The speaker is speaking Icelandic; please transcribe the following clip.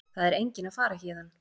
Það er enginn að fara héðan.